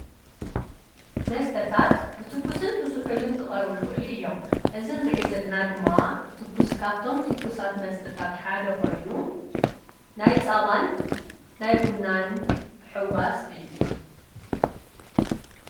መስተታት ብትኩስን ብዙሑልን ክቐርብ ይኽእል እዮም፡፡ እዚ ንርእዮ ዘለና ድማ ትክስ ካፍቶም ትክሳት መስተታት ሓደ ኾይኑ ናይ ፃባን ናይ ቡናን ሕዋስ እዩ፡፡